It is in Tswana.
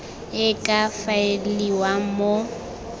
e e ka faeliwang mo